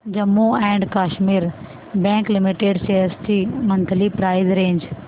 Jammu and Kashmir bank limited shares ची monthly price range